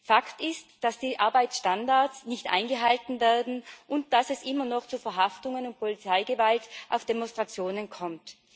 Fakt ist, dass die Arbeitsstandards nicht eingehalten werden und dass es immer noch zu Verhaftungen und Polizeigewalt auf Demonstrationen kommt.